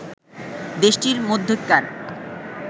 দেশটির মধ্যেকার